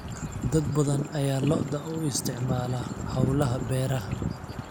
Dad badan ayaa lo'da u isticmaala hawlaha beeraha.